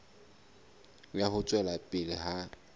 ya ho tswela pele ha